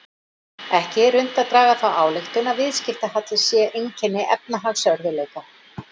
Ekki er unnt að draga þá ályktun að viðskiptahalli sé einkenni efnahagsörðugleika.